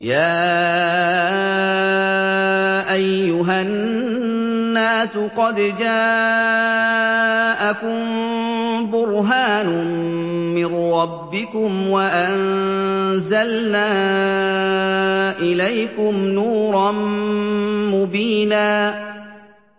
يَا أَيُّهَا النَّاسُ قَدْ جَاءَكُم بُرْهَانٌ مِّن رَّبِّكُمْ وَأَنزَلْنَا إِلَيْكُمْ نُورًا مُّبِينًا